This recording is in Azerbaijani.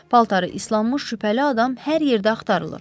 Paltarı islanmış şübhəli adam hər yerdə axtarılır.